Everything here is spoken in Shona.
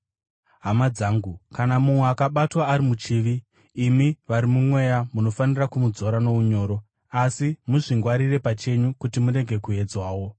Hama dzangu, kana mumwe akabatwa ari muchivi, imi vari mumweya munofanira kumudzora nounyoro. Asi muzvingwarire pachenyu, kuti murege kuedzwawo.